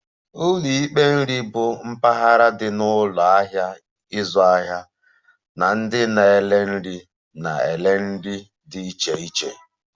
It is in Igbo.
Ụlọ ikpe nri bụ mpaghara dị na ụlọ ahịa ịzụ ahịa na ndị na-ere nri na-ere nri dị iche iche